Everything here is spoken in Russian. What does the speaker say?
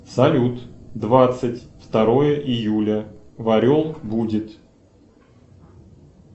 салют двадцать второе июля в орел будет